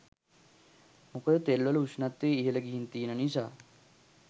මොකද තෙල්වල උෂ්ණත්වය ඉහළ ගිහින් තියෙන නිසා.